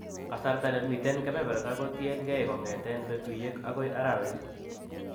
Kasarta ne miiten en keberberta kotien keey kongeten petuiek agoi arawet.